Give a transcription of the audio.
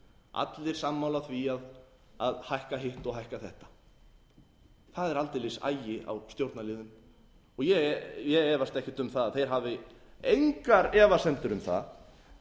allir sammála því að hækka hitt og hækka þetta það er aldeilis agi á stjórnarliðum og ég efast ekkert um að þeir hafi engar efasemdir um það